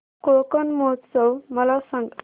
कोकण महोत्सव मला सांग